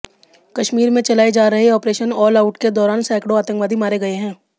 कश्मीर में चलाए जा रहे ऑपरेशन ऑलआउट के दौरान सैकड़ों आतंकवादी मारे गए हैं